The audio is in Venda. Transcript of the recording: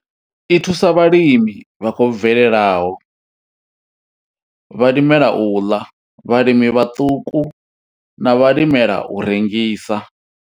I thusa vhalimi vha khou bvelelaho, vhalimela u ḽa, vhalimi vhaṱuku na vhalimela u rengisa.